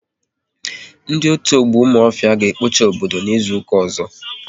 Ndị otu ọgbọ Ụmụife, ga ekpocha obodo n'izuka ọzọ